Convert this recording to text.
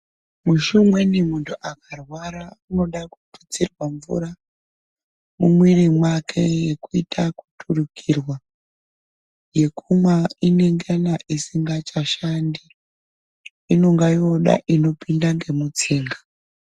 Mushi umweni muntu akarwara unoda kututsirwa mvura mumwiri mwake yekuita kuturukirwa. Yekumwa inongana isingachashandi inonga yooda inopinda nemutsinga.